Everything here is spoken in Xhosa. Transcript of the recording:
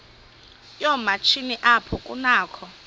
yoomatshini apho kunakho